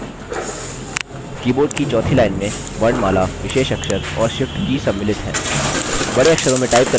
keyboard की चौथी line में वर्णमाला विशेष अक्षर और shift की सम्मिलित हैं